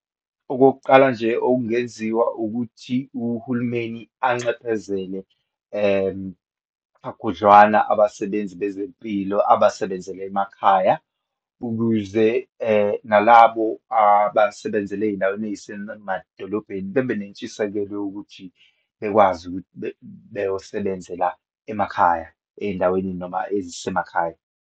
Okokuqala nje okungenziwa, ukuthi uhulumeni anxephezele kakhudlwana abasebenzi bezempilo abasebenzela emakhaya, ukuze nalabo abasebenzela eyindaweni eyisemadolobheni bebe nentshisekelo yokuthi bekwazi ukuthi beyosebenzela emakhaya, eyindaweni noma ezisemakhaya.